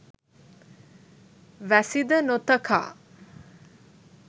වැසි ද නොතකා